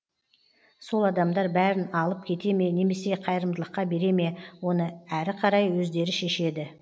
сол адамдар бәрін алып кете ме немесе қайырымдылыққа бере ме оны әрі қарай өздері шешеді